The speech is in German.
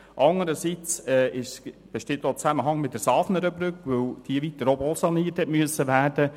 Andererseits besteht auch ein Zusammenhang mit der Safnernbrücke, weil diese weiter oben auch saniert werden musste.